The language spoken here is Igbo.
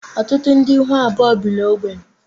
Ọtụtụ ndị ihu abụọ bi n’ógbè m.